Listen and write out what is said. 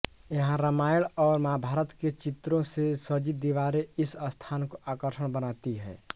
यहां रामायण और महाभारत के चित्रों से सजी दीवारें इस स्थान को आकर्षण बनाती हैं